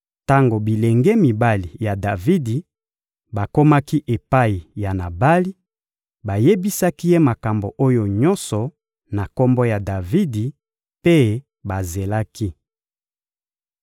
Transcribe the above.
Tango bilenge mibali ya Davidi bakomaki epai ya Nabali, bayebisaki ye makambo oyo nyonso na kombo ya Davidi, mpe bazelaki.